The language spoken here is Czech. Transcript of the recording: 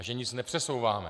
A že nic nepřesouváme.